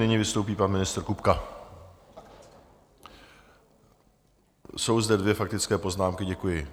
Nyní vystoupí pan ministr Kupka - jsou zde dvě faktické poznámky, děkuji.